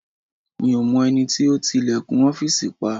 Mi ò mọ ẹni tó ti ilẹ̀kùn ọ́fìsì pa